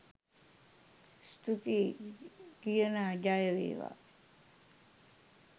ස්තුතියි කිනා ජය වේවා !